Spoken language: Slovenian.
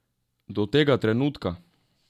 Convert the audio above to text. Do tega trenutka?